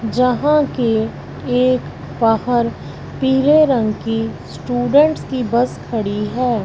जहां की एक बाहर पीले रंग की स्टूडेंट्स की बस खड़ी है।